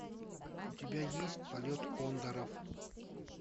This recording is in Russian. у тебя есть полет кондоров